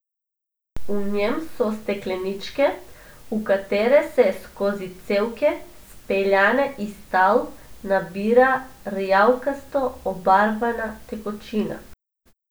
V njem so stekleničke, v katere se skozi cevke, speljane iz tal, nabira rjavkasto obarvana tekočina.